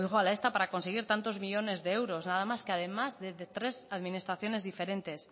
a esta para conseguir tantos millónes de euros nada más que además de tres administraciones diferentes